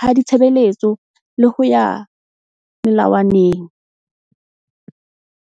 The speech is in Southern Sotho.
ha ditshebeletso le ho ya melawaneng.